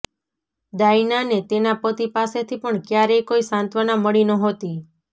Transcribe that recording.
ડાયનાને તેના પતિ પાસેથી પણ ક્યારેય કોઈ સાંત્વના મળી નહોતી